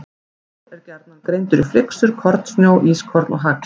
Snjór er gjarnan greindur í flyksur, kornsnjó, ískorn og hagl.